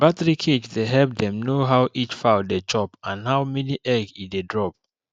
battery cage dey help dem know how each fowl dey chop and how many egg e dey drop